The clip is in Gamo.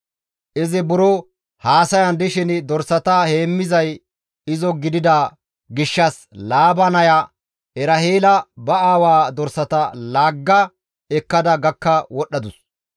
Izi buro haasayan dishin dorsata heemmizay izo gidida gishshas Laaba naya Eraheela ba aawaa dorsata laagga ekkada gakka wodhadus.